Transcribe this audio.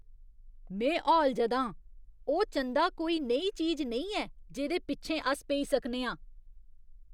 में हौलजदा आं! ओह् चंदा कोई नेही चीज नेईं ऐ जेह्‌दे पिच्छें अस पेई सकने आं।